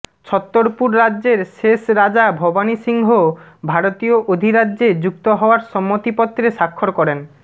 ছত্তরপুর রাজ্যের শেষ রাজা ভবানী সিংহ ভারতীয় অধিরাজ্যে যুক্ত হওয়ার সম্মতিপত্রে স্বাক্ষর করেন